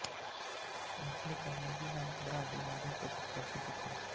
Nestle का Maggi नामक brand यहाँ बहुत अधिक प्रसिद्ध था